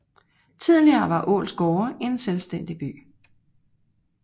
Tidligere var Ålsgårde en selvstændig by